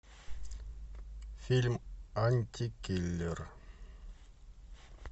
фильм антикиллер